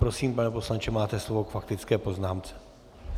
Prosím, pane poslanče, máte slovo k faktické poznámce.